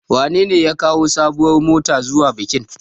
Wanene ya kawo sabuwar mota zuwa bikin?